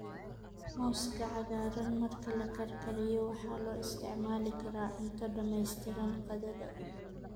Muuska cagaaran marka la karkariyo waxa loo isticmaali karaa cunto dhamaystiran qadada.